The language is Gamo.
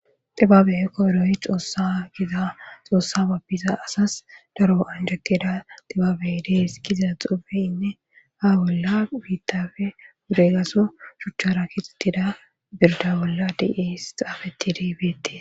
Xibabe koyroy xoossa giza xoossa babbiza asas daro anjekkeda xibaabe dees kiza xubeyinne ha bolla biittafe wudegaso shuchchara kiixxittida birda bolla di7es xaafe tidibeetee.